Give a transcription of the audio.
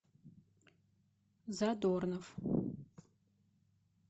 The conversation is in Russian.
задорнов